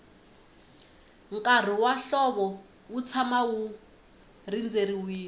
nkarhi wa hlovo wu tshama wu rindzeriwile